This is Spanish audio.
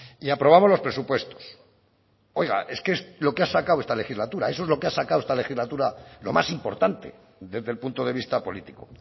y aprobamos los presupuestos oiga es que es lo que ha sacado esta legislatura eso es lo que ha sacado esta legislatura lo más importante desde el punto de vista político